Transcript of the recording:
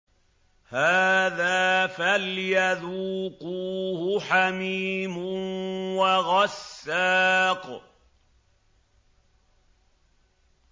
هَٰذَا فَلْيَذُوقُوهُ حَمِيمٌ وَغَسَّاقٌ